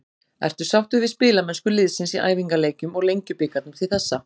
Ertu sáttur við spilamennsku liðsins í æfingaleikjum og Lengjubikarnum til þessa?